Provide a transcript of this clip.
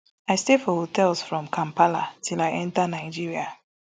i stay for hotels from kampala till i enta nigeria